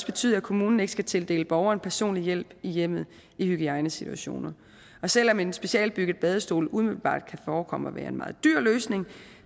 betyde at kommunen ikke skal tildele borgeren personlig hjælp i hjemmet i hygiejnesituationer selv om en specialbygget badestol umiddelbart kan forekomme at være en meget dyr løsning